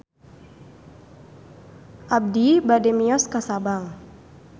Abi bade mios ka Sabang